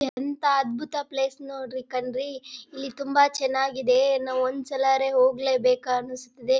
ಎಂತ ಅದ್ಬುತ ಪ್ಲೇಸ್ ನೋಡ್ರಿ ಕಣ್ರೀ ಇಲ್ಲಿ ತುಂಬಾ ಚನ್ನಾಗಿದೆ ಇನ್ನ ಒಂದ್ ಸಲರೇ ಹೋಗ್ಲೇಬೇಕಾ ಅನ್ನಿಸುತ್ತಿದೆ.